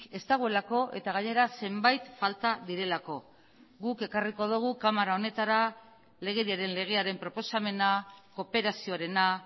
ez dagoelako eta gainera zenbait falta direlako guk ekarriko dugu kamara honetara legediaren legearen proposamena kooperazioarena